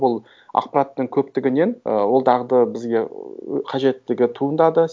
бұл ақпараттың көптігінен ы ол дағды бізге қажеттігі туындады